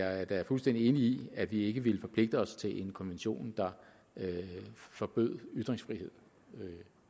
er jeg da fuldstændig enig i at vi ikke ville forpligte os til en konvention der forbød ytringsfrihed